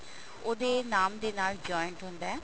ਉਹਦੇ ਨਾਮ ਦੇ ਨਾਲ joint ਹੁੰਦਾ